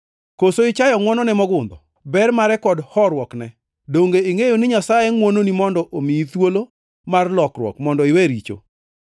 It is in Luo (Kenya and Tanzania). Koso ichayo ngʼwonone mogundho, ber mare kod horuokne? Donge ingʼeyo ni Nyasaye ngʼwononi mondo omiyi thuolo mar lokruok mondo iwe richo?